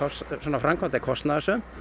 framkvæmd er kostnaðarsöm